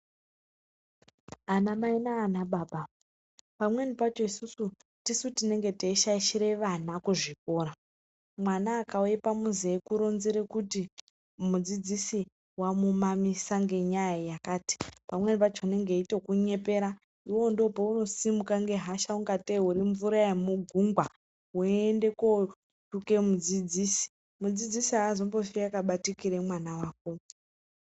Anamai nana baba pamweni pacho isusu tisu tinenge teishaidhire vana kuzvikora mwana akauye pamuzi eikuronzere kuti mudzidzisi wamumamisa ngenyaya yakati pamweni pacho unenge eitokunyepera iwewe ndipowo paunodimuka ngehosha ungatei irimvura yemugugwa weiyenda kotuke mudzidzisi, mudzidzisi azombofi akabatikire mwana wako.